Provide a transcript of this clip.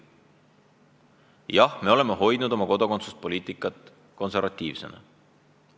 Jah, me oleme hoidnud oma kodakondsuspoliitika konservatiivsena.